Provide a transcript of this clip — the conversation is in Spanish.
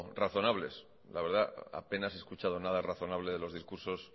razonables la verdad apenas he escuchado nada razonable de los discursos